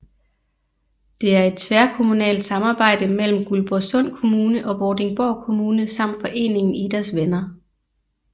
Det er et tværkommunalt samarbejde mellem Guldborgsund Kommune og Vordingborg Kommune samt foreningen Idas Venner